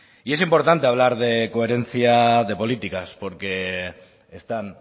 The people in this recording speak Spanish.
y es importante hablar de coherencia de políticas porque están